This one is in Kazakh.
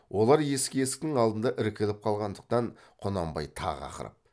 олар есік есіктің алдында іркіліп қалғандықтан құнанбай тағы ақырып